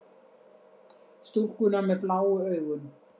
Stúlkuna með bláu augun.